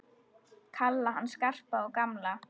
Kalla hann Skarpa og gamla!